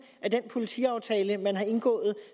af den politiaftale man har indgået